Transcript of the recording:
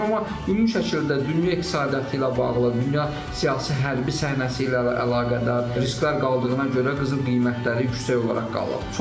Amma ümumi şəkildə dünya iqtisadiyyatı ilə bağlı, dünya siyasi hərbi səhnəsi ilə əlaqədar risklər qaldığına görə qızıl qiymətləri yüksək olaraq qalıb.